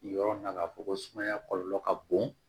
Yɔrɔ na ka fɔ ko sumaya kɔlɔlɔ ka bon